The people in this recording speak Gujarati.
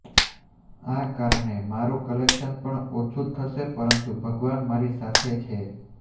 આ કારણે મારુ કલેક્શન પણ ઓછુ થશે પરંતુ ભગવાન મારી સાથએ છે